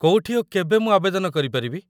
କୋଉଠି ଓ କେବେ ମୁଁ ଆବେଦନ କରିପାରିବି?